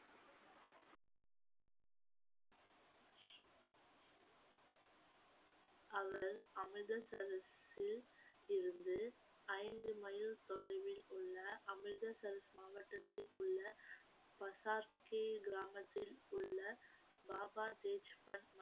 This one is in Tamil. அமிர்தசரஸில் இருந்து ஐந்து மைல் தொலைவில் உள்ள அமிர்தசரஸ் மாவட்டத்தில் உள்ள பசர்கே கிராமத்தில் உள்ள பாபா தேஜ் பான்